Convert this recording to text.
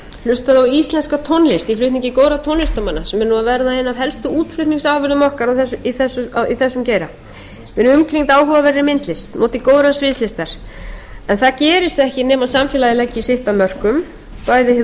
við byggjum hlutað á íslenska tónlist í flutningi góðra tónlistarmanna sem er nú að verða ein af helstu útflutningsafurðum okkar í þessum geira verið umkringd áhugaverðri myndlist notið góðrar sviðslista það gerist ekki nema samfélagið leggi sitt af mörkum bæði hið